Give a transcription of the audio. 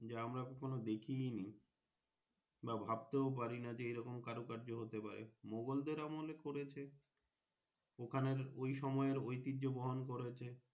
যে আমরা কখনো দেখিইনি বা ভাবতেও পারি না যে এইরকম কারো কায্য হতে পারে মোগলদের দেড় আমলের করেছে ওখান ইও সময় এ ইতিহ্য বোরন করেছে।